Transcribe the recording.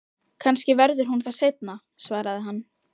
Kannski verður hún það seinna, svaraði hann.